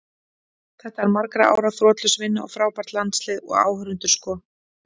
Þetta er margra ára þrotlaus vinna og frábært landslið, og áhorfendur sko.